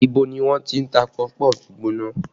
Ibo ni wọ́n ti ń ta pọfupọ́ọ̀fù gbígbóná?